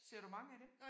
Ser du mange af dem?